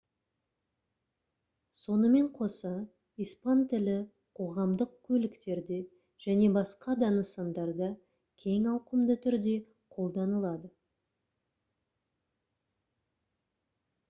сонымен қоса испан тілі қоғамдық көліктерде және басқа да нысандарда кең ауқымды түрде қолданылады